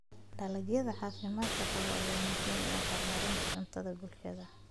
Dalagyada caafimaadka qaba ayaa muhiim u ah horumarinta cuntada bulshada.